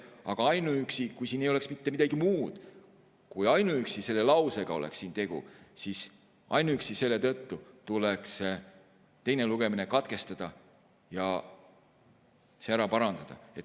Aga kui siin ei oleks mitte midagi muud ja ainuüksi selle lausega oleks siin tegu, siis ainuüksi selle tõttu tuleks teine lugemine katkestada ja see ära parandada.